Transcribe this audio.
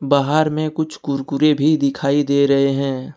बाहर में कुछ कुरकुरे भी दिखाई दे रहे हैं।